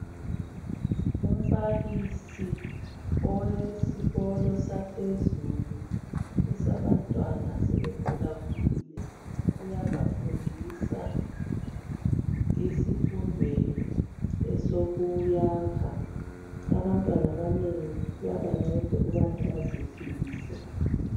Umbalisi owesikolo saphezulu esabantwana asebe khula khulile uyabafundisa esifundweni esokuyakha abantwana abanengi kuyabanceda ukubana baziphilise.